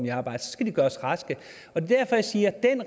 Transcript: i arbejde så skal man gøres rask det er derfor jeg siger